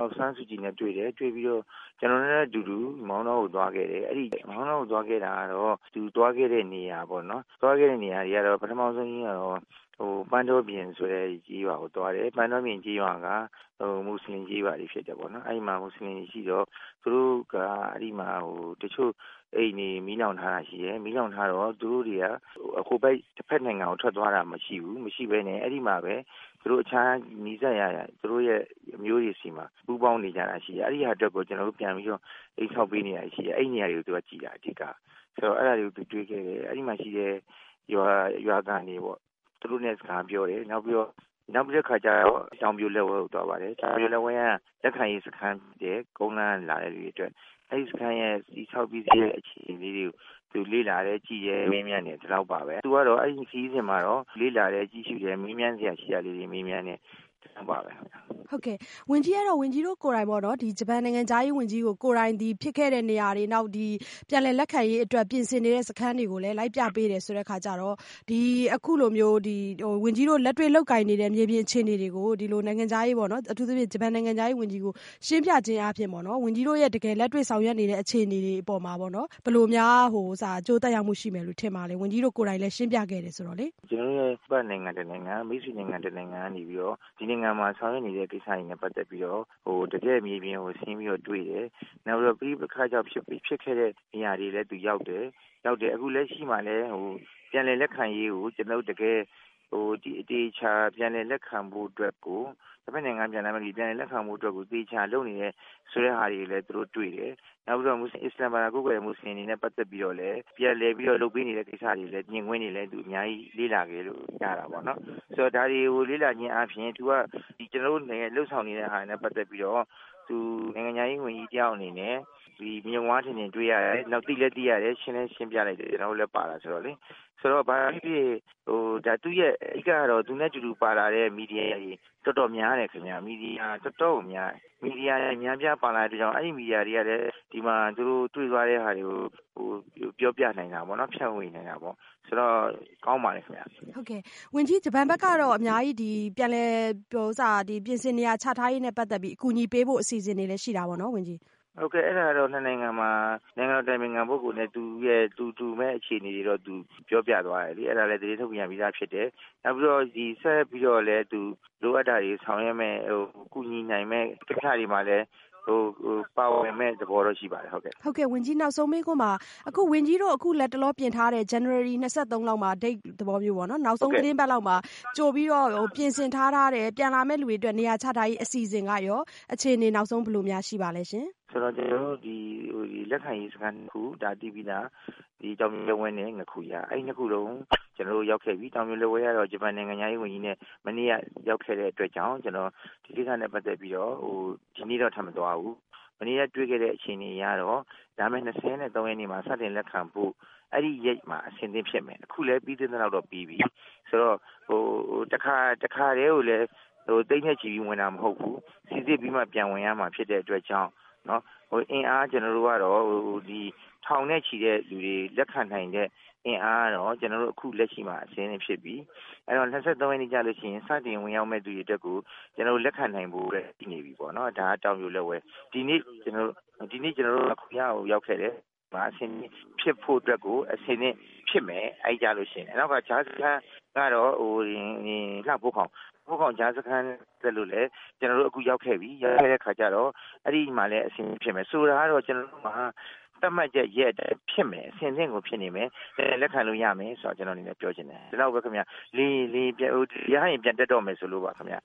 ောင်ဆန်းစုကြည်နဲ့ တွေ့တယ်၊ တွေ့ပြီးတော့ ကျနော်တို့နဲ့အတူတူ မောင်တောကိုသွားခဲ့တယ်။ မောင်တောကိုသွားခဲ့တာကတော့ သူသွားခဲ့တဲ့နေရာ ပထမဦးဆုံးကတော့ ပန်းတောပြင်ကျေးရွာကိုသွားတယ်။ ပန်းတောပြင်ကျေးရွာက မွတ်ဆလင်ကျေးရွာ တွေဖြစ်တယ်ပေါ့နော်။ အဲဒီမှာ မွတ်ဆလင်တွေရှိတော့ သူတို့က အဲဒီမှာ တချို့အိမ်တွေ မီးလောင်ထားတာရှိတယ်။ မီးလောင်ထားတော့ သူတို့တွေ ဟိုဘက်နိုင်ငံကို ထွက်သွားတာမရှိဘူး။ အဲဒီမှာပဲ အခြားသူတို့နီးစပ်ရာ သူတို့အမျိုးတွေမှာ ပူးပေါင်းပြီးနေကြတာရှိတယ် အဲဒီဟာအတွက်ကို ကျနော်တို့ အိမ်ဆောက်ပေးနေတာရှိတယ်။ အဲဒီနေရာတွေကို သွားကြည့်တာ အဓိက။ အဲဒါတွေကိုသူတွေ့ခဲ့တယ် အဲဒီမှာ ရှိတဲ့ ရွာခံတွေပေါ့ သူတို့နဲ့ စကားပြောတယ်။ နောက်ပြီးတော့ တောင်ပြိုလက်ဝဲကိုသွားပါတယ်။ တောင်ပြိုလက်ဝဲက လက်ခံရေးစခန်း ကုန်းလမ်းကလာတဲ့လူတွေအတွက်။ အဲဒီစခန်းရဲ့ တည်ဆောက်ပြီးစီးတဲ့အခြေအနေလေးတွေကို သူလေ့လာတယ် ကြည့်တယ်၊ မေးမြန်းတယ် ဒီလောက်ပါပဲ။ သူကတော့ အခုခရီးစဉ်မှာတော့ လေ့လာတယ် ကြည့်ရှုတယ်၊မေးမြန်းစရာလေးတွေကို မေးမြန်းတယ် ဒီလောက်ပါပဲ။ ဝန်ကြီး အဲဒီတော့ ဝန်ကြီးတို့ကိုယ်တိုင်ပေါ့နော် ဂျပန်နိုင်ငံခြားရေးဝန်ကြီးကို ဖြစ်ခဲ့တဲ့နေရာတွေ ၊ နောက်ပြန်လည်လက်ခံရေးအတွက် ပြင်ဆင်နေတဲ့ စခန်းတွေကို လိုက်ပြပေးတယ်ဆိုတဲ့အခါကျတော့ ဒီအခုလိုမျိုး ဝန်ကြီးတို့ လက်တွေလုပ်ကိုင်နေတဲ့ မြေပြင်အခြေအနေတွေကို ဂျပန်နိုင်ငံခြားရေးဝန်ကြီးကို ရှင်းပြခြင်းအားဖြင့် ဝန်ကြီးတို့တကယ်လက်တွေ့ဆောင်ရွက်နေတဲ့အခြေအနေတွေပေါ်မှာ ဘယ်လိုများ အကျိုးသက်ရောက်မှုရှိမယ်လို့ ထင်ပါသလဲ။ ဝန်ကြီးတို့ကိုယ်တိုင်လည်းရှင်းပြခဲ့တယ်ဆိုတော့။ ကျနော်တို့ ပြည်ပနိုင်ငံတနိုင်ငံ၊မိတ်ဆွေ နိုင်ငံတနိုင်ငံကနေပြီးတော့ ဒီနိုင်ငံမှာ ဆောင်ရွက်နေတဲ့ ကိစ္စတွေနဲ့ ပတ်သက်ပြီးတော့ တကယ့်မြေပြင်ကို ဆင်းပြီးတော့တွေ့တယ်၊ သူရောက်တယ်။ အခုလက်ရှိမှာလည်း ပြန်လည်လက်ခံရေးကို ကျနော်တို့ အသေအချာ ပြန်လည်လက်ခံဖို့အတွက်ကို တဖက်နိုင်ငံမှာ ပြန်လည်လက်ခံဖို့အတွက် သေသေချာချာလုပ်နေတယ်ဆိုတဲ့ဟာတွေကိုလည်း သူတို့တွေ့တယ်။ နောက်ပြီးတော့ အစ္စလာမ်ဘာသာကိုးကွယ်တဲ့ မွတ်စလင်တွေနဲ့ တွေ့ပြီးတော့ ပြန်လည်ပြီးတော့ လုပ်ပေးနေတဲ့ ကိစ္စတွေလည်း မြင်ကွင်းတွေလည်း သူတို့ အများကြီးလေ့လာခွင့်ရတာပေါ့နော်။ ဒါတွေကို လေ့လာခြင်းအားဖြင့် ကျနော်တို့ နဲ့ လုပ်ဆောင်နေတာနဲ့ ပတ်သက်ပြီးတော့ သူနိုင်ငံခြားရေး ဝန်ကြီးတယောက်အနေနဲ့ မျက်ဝါးထင်ထင်တွေ့ရတယ်။ နောက်သိလည်း သိရတယ်၊ ရှင်းလည်းရှင်းပြလိုက်တယ် ကျနော်တို့လည်းပါတာဆိုတော့လေ။ ဘာပဲဖြစ်ဖြစ် ဒါအဓိကတော့ သူနဲ့ အတူတူပါလာတဲ့ မီဒီယာတွေ တော်တော်များတယ်ခင်ဗျ။ မီဒီယာတွေအများအပြားပါလာတဲ့ အတွက်ကြောင့် အဲဒီ မီဒီယာတွေကလည်း သူတို့ တွေ့သွားတဲ့ ဟာတွေကို ပြောပြနိုင်တာပေါ့နော် ဖြန့်ဝေနိုင်တာပေါ့ ဆိုတော့ ကောင်းပါတယ်ခင်ဗျ။ ဝန်ကြီး ဂျပန်ဘက်ကတော့ ပြန်လည်ပြင်ဆင်နေရာချထားရေးနဲ့ ပတ်သက်ပြီး အများကြီး အကူအညီပေးဖို့ အစီအစဉ်တွေလည်းရှိတာပေါ့နော် ဝန်ကြီး။ ဟုတ်ကဲ့ အဲဒါကတော့နိုင်ငံတော် အတိုင်ပင်ခံပုဂ္ဂိုလ်နဲ့ သူဘက်က ကူမယ့်အခြေအနေကို ပြောပြသွားတယ် အဲဒါ သတင်းထုတ်ပြန်ပြီးသားဖြစ်တယ်။ နောက်ပြီးတော့ ဆက်ပြီး လိုအပ်တာတွေဆောင်ရွက်မယ့် ကူညီနိုင်မယ့် ကိစ္စတွေမှာလည်း ပါဝင်မယ့် သဘောတော့ရှိပါတယ်။ ဟုတ်ကဲ့ ဝန်ကြီးနောက်ဆုံးမေးခွန်းပါ။ အခုဝန်ကြီးတို့ လက်တလောပြင်ထားတဲ့ ဇန်နဝါရီ ၂၃ မှာ နောက်ဆုံးသီတင်းပတ်လောက်မှာ ကြိုပြီးတော့ ပြင်ဆင်ထားတဲ့ ပြန်လာမယ့်လူတွေအတွက် နေရာချထားရေး အစီအစဉ်ကရော အခြေအနေ နောက်ဆုံး ဘယ်လိုများ ရှိပါသလဲ။ ဆိုတော့ ကျနော်တို့ ဒီ လက်ခံရေးစခန်း ၂ ခု ဒါသိပြီးသား တောင်ပြိုလက်ဝဲနဲ့ ငါးခူရ အဲဒီ ၂ ခုလုံး ကျနော်တို့ ရောက်ခဲ့ပြီ။ တောင်ပြိုလက်ဝဲကတော့ ဂျပန်နိုင်ငံခြားရေး ဝန်ကြီးလည်းရောက်ခဲ့ပြီ။ မနေ့ကရောက်ခဲ့တဲ့အတွက်ကြောင့် ဒီကိစ္စနဲ့ ပတ်သက်ပြီးတော့ ဒီနေ့တော့ ထပ်မသွားဘူး။ မနေ့က တွေ့ခဲ့တဲ့အခြေအနေကတော့ လာမယ့် ၂၃ ရက်နေ့မှာ စတင်လက်ခံဖို့ အဲဒီ Date မှာ အဆင်သင့်ဖြစ်မယ် အခုပြီးသလောက်တော့ပြီးပြီ။ ဆိုတော့ တခါတည်းကိုလည်း သိန်းနဲ့ချီပြီး ဝင်တာမဟုတ်ဘူး။ စိစစ်ပြီးမှ ပြန်ဝင်ရမှာ ဖြစ်တဲ့အတွက်ကြောင့် အင်အား ကျနော်တို့ကတော့ ထောင်နဲ့ ချီတဲ့ လူတွေလက်ခံနိုင်တဲ့ အင်အားကတော့ ကျနော်တို့ အခုလက်ရှိမှာ အဆင်သင့်ဖြစ်ပြီ။ အဲဒီတော့ ၂၃ ရက်နေ့ကျရင် စတင် ဝင်ရောက်မယ့် သူတွေအတွက်ကို ကျနော်တို့ လက်ခံနိုင်ဖို့အတွက်ကို အဆင်သင့်ဖြစ်ပြီပေါ့နော် ဒါ တောင်ပြိုလက်ဝဲအတွက်။ ဒီနေ့ ကျနော်တို့ ငါးခူရကို ရောက်ခဲ့တယ်။ ငါးခူရမှာ အဆင်သင့်ဖြစ်ဖို့အတွက်ကို အဆင်သင့်ဖြစ်မယ် အဲဒီကျလို့ရှိရင်။ လှဖိုးခေါင် ကြားစခန်းကိုလည်း ကျနော်တို့ အခုရောက်ခဲ့ပြီ။ ကျနော်တို့ ရောက်ခဲ့တဲ့ အခါကျတော့ အဲဒီမှာလည်း အဆင်သင့်ဖြစ်မယ်။ ဆိုလိုတာကတော့ ကျနော်တို့မှာ သတ်မှတ်ရက်အတွက် အဆင်သင့်ဖြစ်မယ် ပြန်လည်လက်ခံလို့ ရမယ်ဆိုတာ ကျနော်ပြောချင်တယ်။ ဒီလောက်ပဲခင်ဗျ ရဟတ်ယာဉ်ပြန်တက်တော့မယ်ဆိုလိုပါခင်ဗျ